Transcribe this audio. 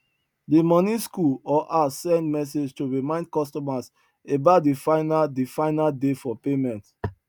the money school or house send message to remind customers about the final the final day for payment